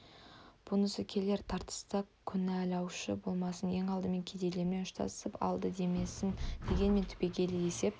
бұнысы келер тартыста кінәлаушы болмасын ең алдымен кедейлермен ұштасып алды демесін деген түбегейлі есеп